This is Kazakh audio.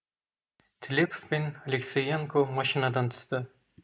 тілепов пен алексеенко машинадан түсті